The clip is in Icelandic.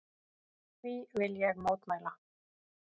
Því vil ég mótmæla!